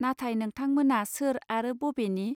नाथाय नोंथां मोना सोर आरो बबेनि